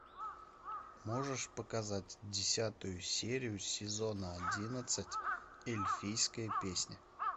можешь показать десятую серию сезона одиннадцать эльфийская песня